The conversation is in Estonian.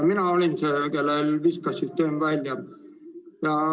Mina olin see, kellel süsteem välja viskas.